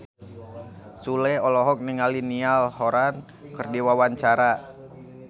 Sule olohok ningali Niall Horran keur diwawancara